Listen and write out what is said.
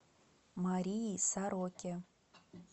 марии сороке